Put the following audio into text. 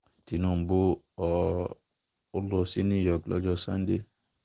tinúbù um ń lọ sí new york lọ́jọ́ sànńdẹ̀